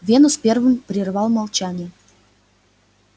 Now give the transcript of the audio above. венус первым прервал молчание